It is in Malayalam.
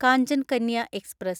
കാഞ്ചൻ കന്യ എക്സ്പ്രസ്